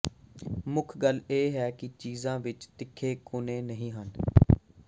ਮੁੱਖ ਗੱਲ ਇਹ ਹੈ ਕਿ ਚੀਜ਼ਾਂ ਵਿੱਚ ਤਿੱਖੇ ਕੋਨੇ ਨਹੀਂ ਹਨ